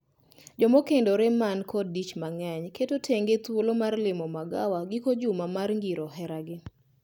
Joma okendore man kod dich mang’eny keto tenge thuolo mar limo magawa giko juma mar ngiro heragi.